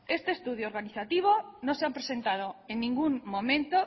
este estudio organizativo no se ha presentado en ningún momento